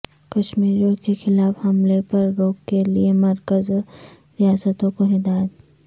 کشمیریوں کے خلاف حملے پرروک کے لئے مرکز اور ریاستوں کو ہدایت